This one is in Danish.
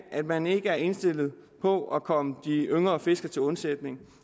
at man ikke er indstillet på at komme de yngre fiskere til undsætning